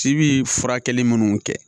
Ci bi furakɛli munnu kɛ